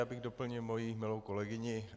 Já bych doplnil svoji milou kolegyni.